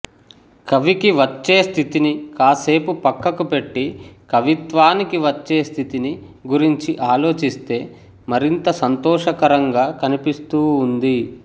కవికి వచ్చే స్థితిని కాస్సేపు పక్కకు పెట్టి కవిత్వానికి వచ్చే స్థితిని గురించి ఆలోచిస్తే మరింత సంతోషకరంగా కనిపిస్తూ ఉంది